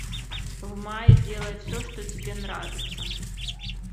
в мае делай все что тебе нравится